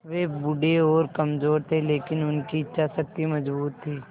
वे बूढ़े और कमज़ोर थे लेकिन उनकी इच्छा शक्ति मज़बूत थी